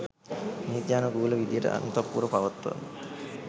නීත්‍යානුකූල විධියට අන්තඃපුර පවත්වන්න